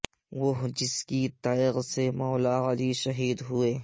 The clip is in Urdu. وہ جس کی تیغ سے مولا علی شہید ھوئے